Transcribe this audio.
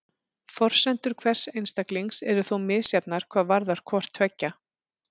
Forsendur hvers einstaklings eru þó misjafnar hvað varðar hvort tveggja.